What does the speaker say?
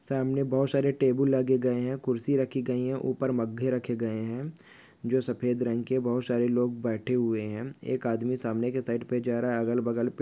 सामने बहुत सारे टेबल लगे गए है खुर्ची रखी गई है उपर मघे रखे गए है जो सफ़ेद रंग के बहुत सारे लोग बैठे हुए है एक आदमी सामने के साइड पे जा रहा है अगल-बगल पे--